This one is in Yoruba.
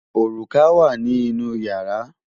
Òrùka wà ní inú ìyàrá.